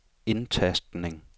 indtastning